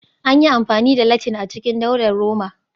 An yi amfani da Latin a cikin Daular Roma